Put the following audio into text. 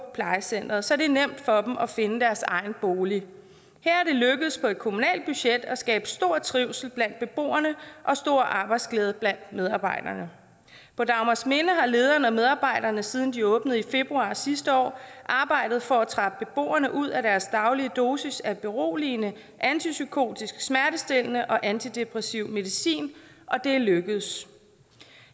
plejecenteret så det er nemt for dem at finde deres egen bolig her er det lykkedes på et kommunalt budget at skabe stor trivsel blandt beboerne og stor arbejdsglæde blandt medarbejderne på dagmarsminde har lederne og medarbejderne siden de åbnede i februar sidste år arbejdet for at trappe beboerne ud af deres daglige dosis af beroligende antipsykotisk smertestillende og antidepressiv medicin og det er lykkedes